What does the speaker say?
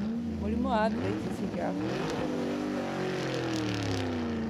Mũrimũ wa arthritis ũngĩaga kũmenyererũo wega no ũtũme mũndũ atuĩke kĩonje.